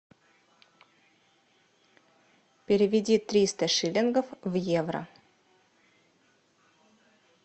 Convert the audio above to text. переведи триста шиллингов в евро